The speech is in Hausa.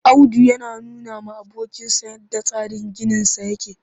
Audu yana nunawa abokinsa yadda tsarin ginisa yake